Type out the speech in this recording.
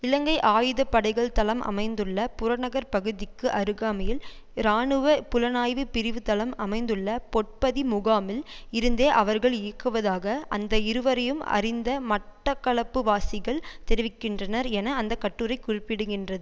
இலங்கை ஆயுத படைகள் தளம் அமைத்துள்ள புறநகர் பகுதிக்கு அருகாமையில் இராணுவ புலனாய்வு பிரிவு தளம் அமைத்துள்ள பொற்பதி முகாமில் இருந்தே அவர்கள் இயங்குவதாக அந்த இருவரையும் அறிந்த மட்டக்களப்புவாசிகள் தெரிவிக்கின்றனர் என அந்த கட்டுரை குறிப்பிடுகின்றது